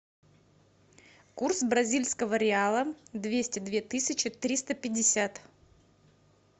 курс бразильского реала двести две тысячи триста пятьдесят